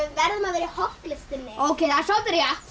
verðum að vera í hollustunni ókei það er soldið rétt